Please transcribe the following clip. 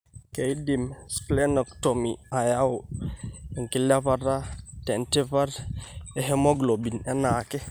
Keidim Splenectomy ayau enkilepata tentipat ehemoglobin eanaake.